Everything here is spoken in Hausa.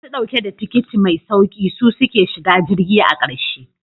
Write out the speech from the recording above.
Masu dauke da tikiti mai sauki su suke shiga jirgi a karshe.